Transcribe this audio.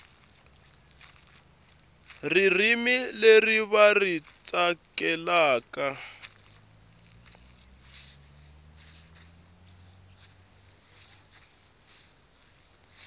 ririmi leri va ri tsakelaka